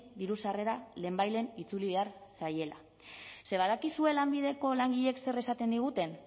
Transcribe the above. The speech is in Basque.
diru sarrera lehenbailehen itzuli behar zaiela ze badakizue lanbideko langileek zer esaten diguten